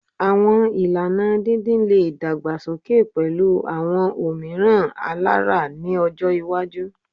Awọn ilana didin le dagbasoke pẹlu awọn omiiran alara ni ọjọ iwaju